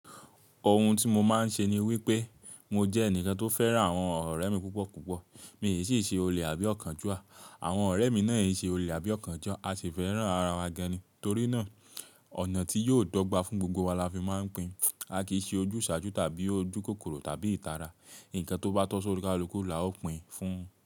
Ohun tí mo máa ń ṣe ni wípé mo jẹ́ ẹnìkan tó fẹ́ràn àwọn ọ̀rẹ́ mi púpọ̀ púpọ̀. Mi ò sì ṣe olè àbí ọ̀kànjúà. Àwọn ọ̀rẹ́ mi náà ò sì ṣe olè àbí ọ̀kànjúà. A sì fẹ́ràn ara wa gan ni. Torí náà ọ̀nà tí yóò dọ́gba fún gbogbo wa la fi máa ń pín. A kì í ṣe ojúṣàájú tàbí ojúkòkòrò tàbí ìtara. Ǹkan tó bá tọ́ sórí kalùkú la ó pín fún un.